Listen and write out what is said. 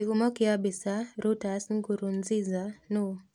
Kĩhumo kĩa mbica, Reuters Nkurunziza nũ?